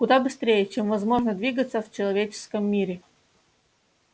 куда быстрее чем возможно двигаться в человеческом мире